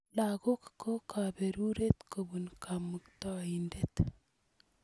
Lagok ko kaperuret kopun Kamuktaindet